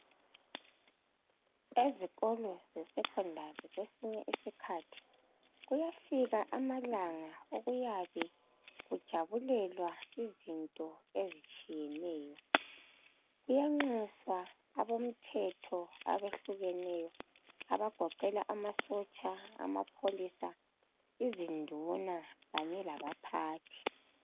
Ezikolo ze "secondary " kwesinye isikhathi kuyafika amalanga okuyabe kujabulelwa izinto ezitshiyeneyo. Kuyaxuswa abemthetho abahlukeneyo, abagoqela amasotsha, amapholisa, iziduna khanye labaphathi.